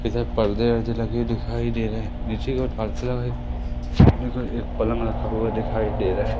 इधर पर्दे वर्दे लगे हुए दिखाई दे रहे हैं नीचे सामनेको एक पलंग रखा हुआ दिखाई दे रहा है।